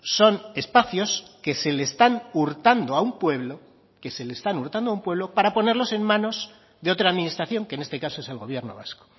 son espacios que se le están hurtando a un pueblo que se le están hurtando a un pueblo para ponerlos en manos de otra administración que en este caso es el gobierno vasco